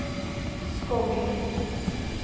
Skogn